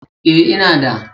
Ee, ina da.